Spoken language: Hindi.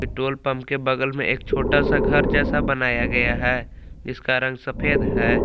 पेट्रोल पंप के बगल में एक छोटा सा घर जैसा बनाया गया है जिसका रंग सफेद है।